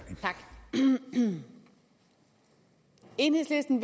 i enhedslisten